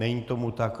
Není tomu tak.